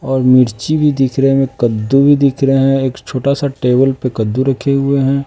और मिर्ची भी दिख रहे में कद्दू भी दिख रहे हैं एक छोटा सा टेबल पे कद्दू रखे हुए हैं।